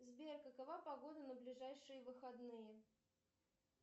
сбер какова погода на ближайшие выходные